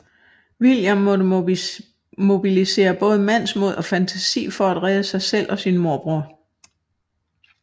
William må mobilisere både mandsmod og fantasi for at redde sig selv og sin morbror